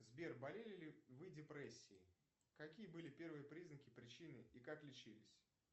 сбер болели ли вы депрессией какие были первые признаки причины и как лечились